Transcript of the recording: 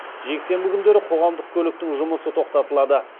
жексенбі күндері қоғамдық көліктің жұмысы тоқтатылады